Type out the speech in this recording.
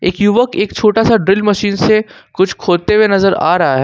एक युवक एक छोटा सा ड्रिल मशीन से कुछ खोदते हुए नजर आ रहा है।